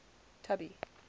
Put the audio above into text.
tubby